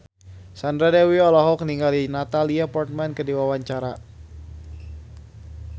Sandra Dewi olohok ningali Natalie Portman keur diwawancara